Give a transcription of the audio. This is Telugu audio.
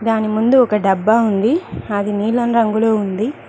దాని ముందు ఒక డబ్బా ఉంది అది నీలం రంగులో ఉంది.